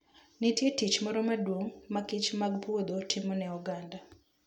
Nitie tich moro maduong' ma kichmag puodho timo ne oganda.